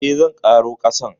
Eh, zan ƙaro kasan.